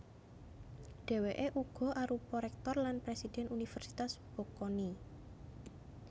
Dhèwèké uga arupa réktor lan présidhèn Universitas Bocconi